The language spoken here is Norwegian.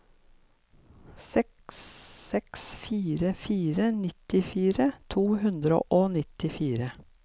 seks seks fire fire nittifire to hundre og nittifire